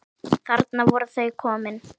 Þarna voru þau komin.